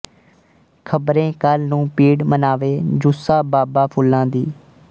ਖ਼ਬਰੇ ਕੱਲ੍ਹ ਨੂੰ ਪੀੜ ਮਨਾਵੇ ਜੁੱਸਾ ਬਾਬਾ ਫੁੱਲਾਂ ਦੀ